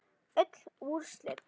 Öll úrslit